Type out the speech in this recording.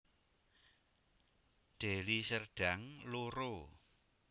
Deli Serdang loro